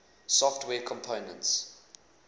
software components